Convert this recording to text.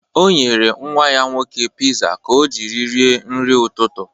O nyere nnwa ya nwoke piza ka o jiri rie nri ụtụtụ.